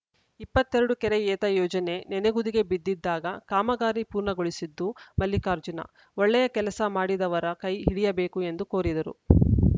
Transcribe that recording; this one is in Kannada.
ಇಪ್ಪತ್ತ್ ಎರಡು ಕೆರೆ ಏತ ಯೋಜನೆ ನೆನೆಗುದಿಗೆ ಬಿದ್ದಿದ್ದಾಗ ಕಾಮಗಾರಿ ಪೂರ್ಣಗೊಳಿಸಿದ್ದು ಮಲ್ಲಿಕಾರ್ಜುನ ಒಳ್ಳೆಯ ಕೆಲಸ ಮಾಡಿದವರ ಕೈ ಹಿಡಿಯಬೇಕು ಎಂದು ಕೋರಿದರು